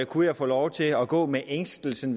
kunne jeg få lov til at gå med ængstelsen